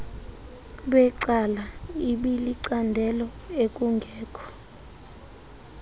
becala ibilicandelo ekungekho